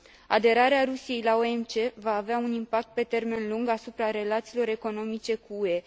Aderarea Rusiei la OMC va avea un impact pe termen lung asupra relațiilor economice cu UE.